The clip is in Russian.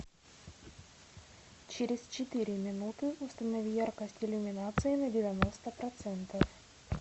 через четыре минуты установи яркость иллюминации на девяносто процентов